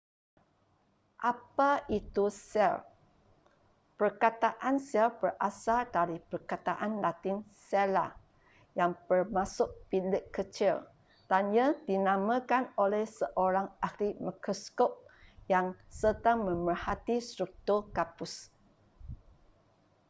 apa itu sel perkataan sel berasal dari perkataan latin cella' yang bermaksud bilik kecil dan ia dinamakan oleh seorang ahli mikroskop yang sedang memerhati struktur gabus